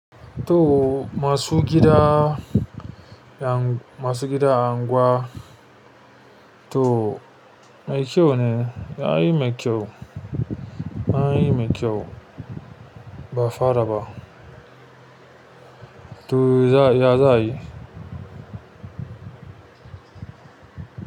To masu gida, masu gida a anguwa to mai kyau ne, yayi mai kyau, yayi mai kyau ba fara ba. To ya, ya za ayi?